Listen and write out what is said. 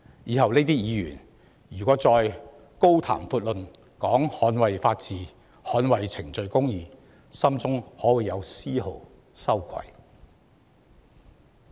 這些議員日後若再高呼捍衞法治、捍衞程序公義，心中可會有絲毫羞愧？